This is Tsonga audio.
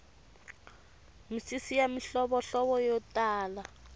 misisi ya mihlovohlovo yo tala